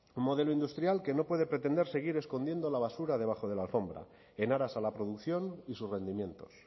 un modelo industrial que no puede pretender seguir escondiendo la basura debajo de la alfombra en aras a la producción y sus rendimientos